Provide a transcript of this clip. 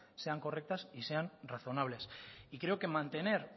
sean correctas y sean razonables y creo que mantener